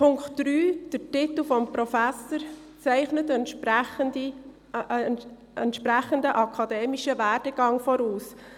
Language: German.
Zum Punkt 3: Der Titel des Professors setzt einen entsprechenden akademischen Werdegang voraus.